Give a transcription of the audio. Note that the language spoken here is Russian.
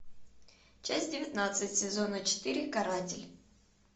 часть девятнадцать сезона четыре каратель